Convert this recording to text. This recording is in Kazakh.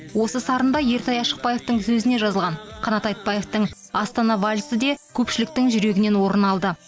осы сарында ертай ашықбаевтың сөзіне жазылған қанат айтбаевтың астана вальсі де көпшіліктің жүрегінен орын алды